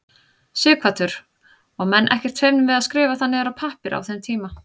Sighvatur: Og menn ekkert feimnir við að skrifa það niður á pappír á þeim tíma?